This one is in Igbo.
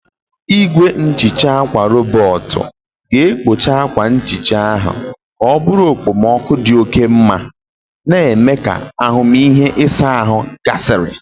Igwe nhicha akwa rọbọt ga-ekpocha akwa nhicha ahụ ka ọ bụrụ okpomoku dị oke mma, na-eme ka ahụmịhe ịsa ahụ gasịrị.